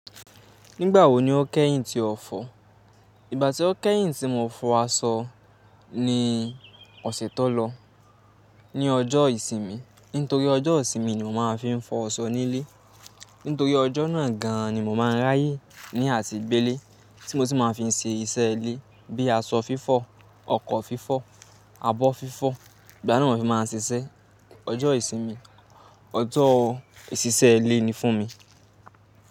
Nígbà wo ni o kẹ́yìn ti ọ̀fọ̀? Ìgbà tí o kẹ́yìn tí mo fọ aṣọ ni ọ̀sẹ̀ tó lọ, ní ọjọ́ ìsinmi. Nítorí ọjọ́ ìsinmi ni mo máa ń fi fọ aṣọ nílé. Nítorí ọjọ́ náà gan an ni mo máa ń ráyè ní àti gbélé, tí mo sì máa ń fi ṣe iṣẹ́ ilé bíi aṣọ fífọ̀, ọkọ̀ fífọ̀, abọ́ fífọ̀. Ìgbà náà ni mo fi máa ń ṣiṣẹ́. Ọjọ́ ìsinmi, ọjọ́ ìṣiṣẹ́ ilé ni fún mi.